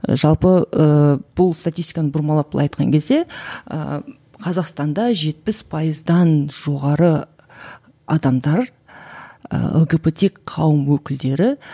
жалпы ыыы бұл статистиканы бұрмалап былай айтқан кезде ыыы қазақстанда жетпіс пайыздан жоғары адамдар ы лгбт қауым өкілдері